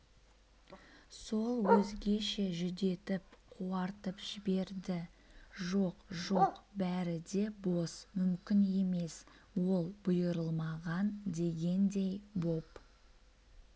сол өзгеше жүдетіп қуартып жіберді жоқ жоқ бәрі де бос мүмкін емес ол бұйырылмаған дегендей боп